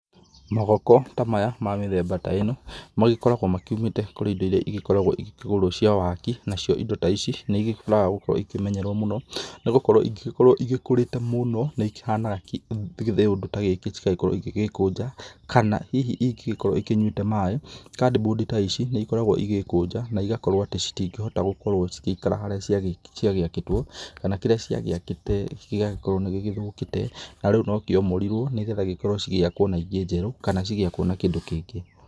Magoko ta maya ma mĩthemba ta ĩno magĩkoragwo makiumĩte kũrĩ indo iria igĩkoragwo igĩkĩgũrwo cia waaki nacio indo ta ici nĩ igĩbataraga gũkorwo ikĩmenyererwo mũno, nĩ gũkorwo ingĩgĩkorwo igĩkũrĩte mũno nĩ ĩkĩhanaga kĩũndũ ta gĩkĩ cĩgagĩkorwo igĩgĩkũnja, kana hihi ingĩgĩkorwo ikĩnyuĩte maĩ, cardboard ta ici nĩ ikoragwo igĩgĩkũnja na igakorwo atĩ citingĩhota gũkorwo cigĩikara harĩa ciagĩakĩtwo, kana kĩrĩa ciagĩakĩte gĩgagĩkorwo nĩ gĩgĩthũkite, na rĩu no kĩomorirwo nĩ getha gĩkorwo cigĩakwo na ingĩ njerũ, kana cigĩakwo na kĩndũ kĩngĩ.